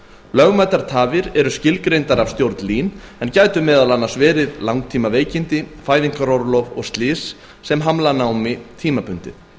lögmætar tafir eru skilgreindar af stjórn lín en gætu meðal annars verið langtímaveikindi fæðingarorlof og slys sem hamla námi tímabundið